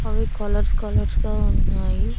అవి colours colours గా ఉన్నాయి.